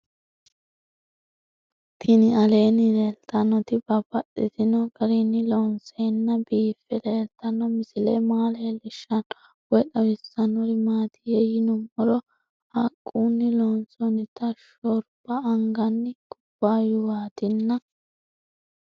Tinni aleenni leelittannotti babaxxittinno garinni loonseenna biiffe leelittanno misile maa leelishshanno woy xawisannori maattiya yinummoro haquunni loonsoonnitti shoribba anganni kubbaayuwaattinna